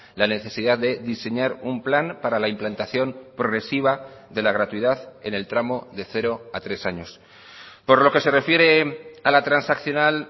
la necesidad de diseñar un plan para la implantación progresiva de la gratuidad en el tramo de cero a tres años por lo que se refiere a la transaccional